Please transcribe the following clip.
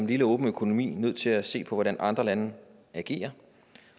lille åben økonomi nødt til at se på hvordan andre lande agerer